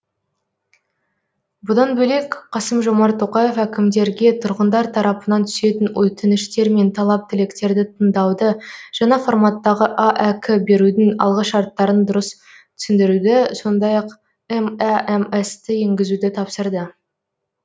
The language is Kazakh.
бұдан бөлек қасым жомарт тоқаев әкімдерге тұрғындар тарапынан түсетін өтініштер мен талап тілектерді тыңдауды жаңа форматтағы аәк берудің алғышарттарын дұрыс түсіндіруді сондай ақ мәмс ті енгізуді тапсырды